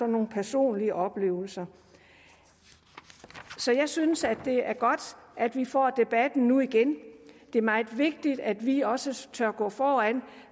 nogle personlige oplevelser så jeg synes at det er godt at vi får debatten nu igen det er meget vigtigt at vi også tør gå foran